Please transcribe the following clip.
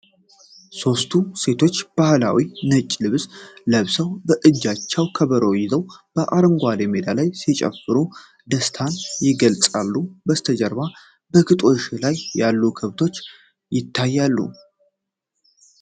ሶስቱ ሴቶች በባህላዊ ነጭ ልብስ ለብሰውና በእጃቸው ከበሮ ይዘው አረንጓዴ ሜዳ ላይ ሲጨፍሩ ደስታን ይገልጻሉ። ከበስተጀርባ በግጦሽ ላይ ያሉ ከብቶች ይታያሉ።